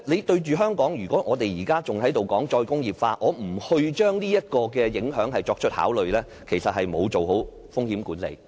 對於香港，如果我們仍然談"再工業化"，而不將這個影響作出考慮，其實是沒有做好風險管理。